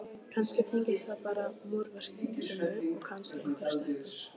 kannski tengdist það bara múrverkinu og kannski einhverri stelpu.